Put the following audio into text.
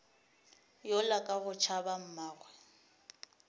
yola ka go tšhaba mmagwe